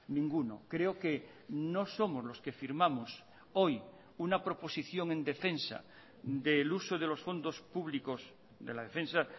ninguno creo que no somos los que firmamos hoy una proposición en defensa del uso de los fondos públicos de la defensa